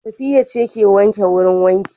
Safiya ce ta ke wanke wurin wanka